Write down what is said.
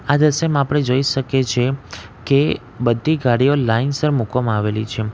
આ દ્રશ્યમાં આપણે જઈ શકે છે કે બધી ગાડીઓ લાઈનસર મુકવામાં આવેલી છે.